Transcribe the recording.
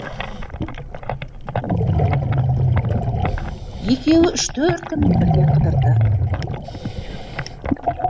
екеуі үш төрт күн бірге қыдырды